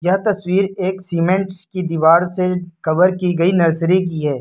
यह तस्वीर एक सीमेंट्स की दीवार से कवर की गई नर्सरी की है।